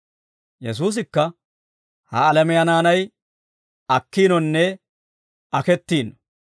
Yesuusikka, «Ha alamiyaa naanay akkiinonne akettiino.